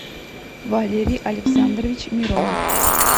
валерий александрович миронов